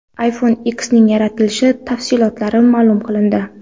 iPhone X ning yaratilishi tafsilotlari ma’lum qilindi.